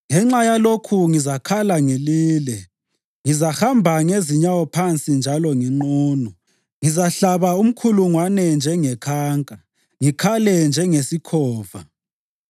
Ngenxa yalokhu ngizakhala ngilile; ngizahamba ngezinyawo phansi njalo nginqunu. Ngizahlaba umkhulungwane njengekhanka, ngikhale njengesikhova.